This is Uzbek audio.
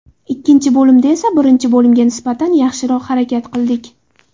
Ikkinchi bo‘limda esa birinchi bo‘limga nisbatan yaxshiroq harakat qildik.